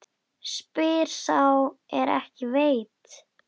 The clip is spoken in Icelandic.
Spyr sá er ekki veit.